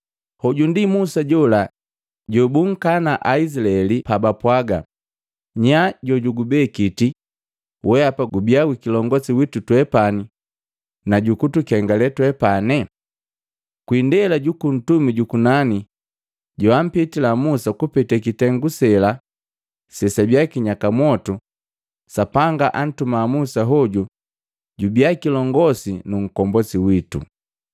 “Hoju ndi Musa jola jobunkana Aizilaeli pabapwaga, ‘Nyaa jojukubekiti weapa gubia kilongosi witu twepani na jukutukengale twepani?’ Kwi indela juku Ntumi jukunani joampitila Musa kupete kitengu sela sesabiya kinyaka mwotu, Sapanga antuma Musa hoju jubiya kilongosi nu nkombosi witu.